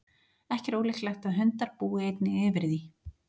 Ekki er ólíklegt að hundar búi einnig yfir því.